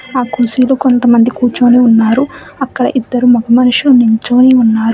ఆ కుర్చీలో కొంతమంది కూర్చొని ఉన్నారు అక్కడ ఇద్దరు మగ మనుషులు నుంచొని ఉన్నారు.